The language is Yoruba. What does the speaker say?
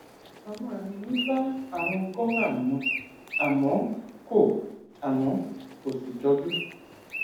àwọn àmì mi bá àrùn gorham mu àmọ kò àmọ kò sì jọjú